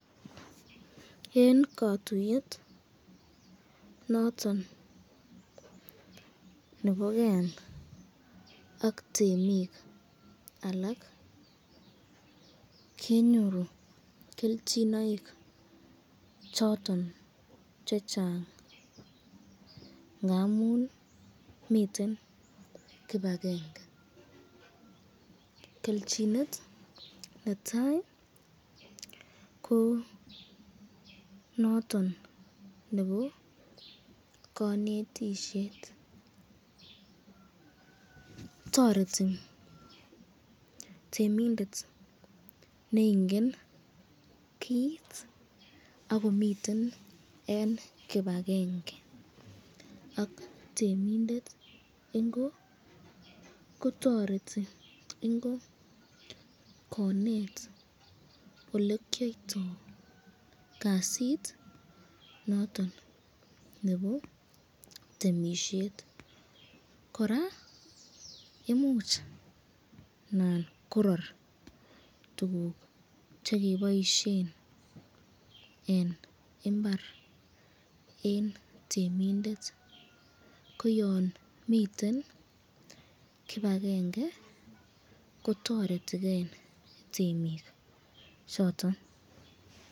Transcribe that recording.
Eng kakuyet noton neboken ak temik alak kenyoru kelchinoik choton chechang ngamun miten kibakenge, kelchinet netai ko noton nebo kanetisyet, toreti temindet neingen kit akomiten eng kibakenge ak temindet ingo kotoreti ingo konet olekyoyyto noton nebo temisyet, koraa imuch Nan korar tukuk chekiboisyen eng imbar eng temindet, ko yan miten kibakenge ko toretiken temik choton.